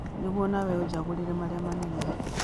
Niguo no nawe ũnjagũrĩre marĩa manene